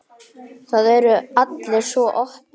Það eru allir svo opnir.